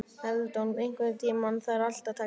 Eldon, einhvern tímann þarf allt að taka enda.